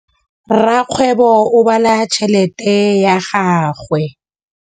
Rakgwêbô o bala tšheletê ya gagwe.